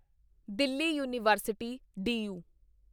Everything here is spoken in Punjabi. Delhi university D you